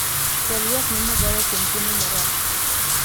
chwal ywak ne magawa kuom chiemo marach